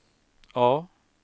A